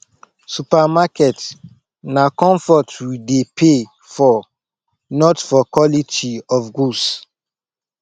supermarket na comfort we dey pay for not for quality of goods